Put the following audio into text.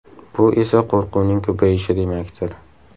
Bu esa qo‘rquvning ko‘payishi demakdir.